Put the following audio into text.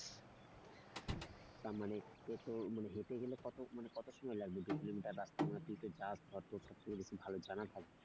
তা মানে হেঁটে গেলে কত মানে কত সময় লাগবে দু কিলোমিটার রাস্তা মানে তুই তো যাস বা তোর তো এগুলো ভালো জানা থাকবে।